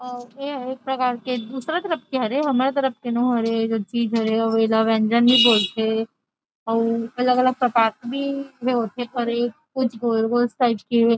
यह एक प्रकार के दूसरा तरफ के हरे हमर तरफ़ के नो हरे ए चीज हरे अउ एला व्यन्जन भी बोलथे अलग-अलग प्रकार के भी ए हे होथे कुछ गोल- गोल --